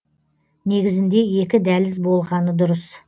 негізінде екі дәліз болғаны дұрыс